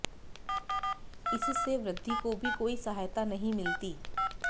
इससे वृद्घि को भी कोई सहायता नहीं मिलती